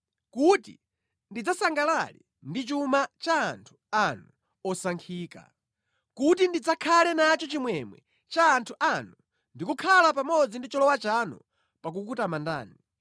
kuti ndidzasangalale ndi chuma cha anthu anu osankhika, kuti ndidzakhale nacho chimwemwe cha anthu anu ndi kukhala pamodzi ndi cholowa chanu pa kukutamandani.